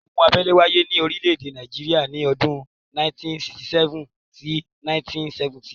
ogun abẹ́lé wáyé ní orílé èdè Nàìjíría ní ọdún 1967-1970